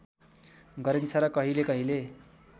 गरिन्छ र कहिले कहिले